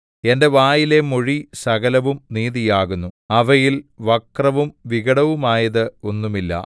എന്റെ വായിലെ മൊഴി സകലവും നീതിയാകുന്നു അവയിൽ വക്രവും വികടവുമായത് ഒന്നുമില്ല